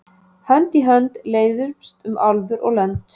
Hönd í hönd leiðumst um álfur og lönd.